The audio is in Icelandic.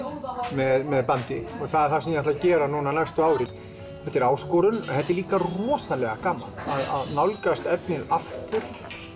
með bandi og það sem ég ætla að gera næstu árin þetta er áskorun en þetta er líka rosalega gaman að nálgast efnið aftur